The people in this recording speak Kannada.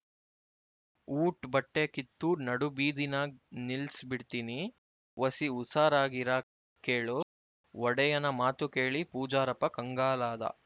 ಊಟ್ ಬಟ್ಟೆ ಕಿತ್ತು ನಡು ಬೀದಿನಾಗ್ ನಿಲ್ಲಿಸ್ ಬಿಡ್ತೀನಿ ಒಸಿ ಉಸಾರಾಗಿರಾ ಕೇಳು ಒಡೆಯನ ಮಾತು ಕೇಳಿ ಪೂಜಾರಪ್ಪ ಕಂಗಾಲಾದ